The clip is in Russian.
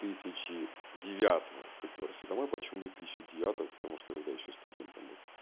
тысячи девятого припёрся домой почему две тысячи девятого потому что я тогда ещё студентом был